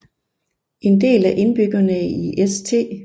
En del af indbyggerne i St